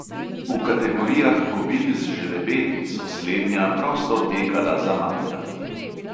V kategorijah kobil z žrebeti so slednja prosto tekala za materami.